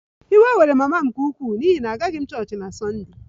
Iwe were mama m nke ukwuu n'ihi na agaghị m aga chọọchị na Sunday